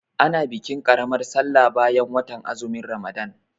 A na bikin ƙaramar sallar bayan watan azumin Ramalan.